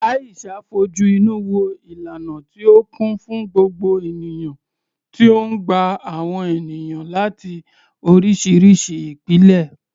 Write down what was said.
Aisha fojú inú wo ìlànà tí ó kún fún gbogbo ènìyàn tí ó ń gba àwọn ènìyàn láti oríṣiríṣi ìpìlẹ̀.